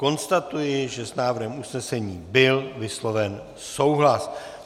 Konstatuji, že s návrhem usnesení byl vysloven souhlas.